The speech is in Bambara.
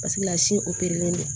Paseke lasi don